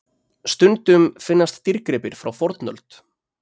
Stundum finnast dýrgripir frá fornöld.